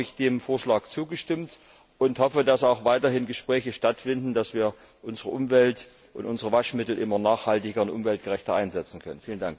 Deshalb habe ich dem Vorschlag zugestimmt und hoffe, dass auch weiterhin Gespräche stattfinden, dass wir unsere Umwelt und unsere Waschmittel immer nachhaltiger und umweltgerechter einsetzen können.